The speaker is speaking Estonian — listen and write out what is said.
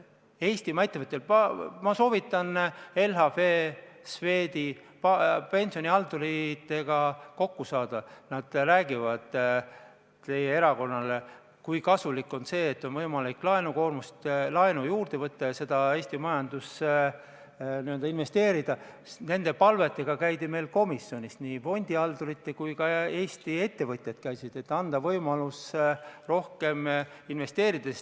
Aitäh, austatud istungi juhataja!